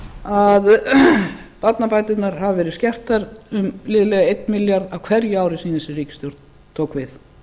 að barnabæturnar hafi verið skertar um liðlega einn milljarð á hverju ári síðan þessi ríkisstjórn tók við